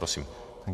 Prosím.